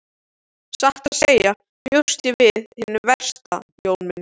Satt að segja bjóst ég við hinu versta Jón minn.